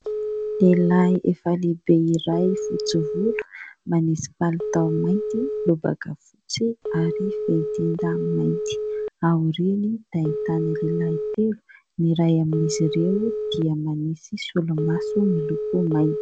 Lehilahy efa lehibe iray fotsy volo manisy palitao mainty, lobaka fotsy ary fehitenda mainty. Aoriany dia ahitana lehilahy telo ny ray amin'izy ireo dia manisy solomaso miloko mainty.